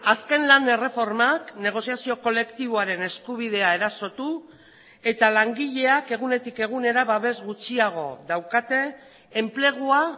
azken lan erreformak negoziazio kolektiboaren eskubidea erasotu eta langileak egunetik egunera babes gutxiago daukate enplegua